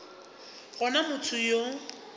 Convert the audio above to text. go na motho yo a